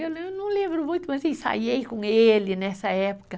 Eu não lembro muito, mas ensaiei com ele nessa época.